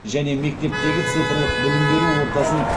және мектептегі цифрлық білім беру ортасын